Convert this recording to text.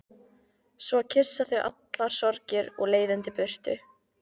Svo kyssa þau allar sorgir og leiðindi burtu.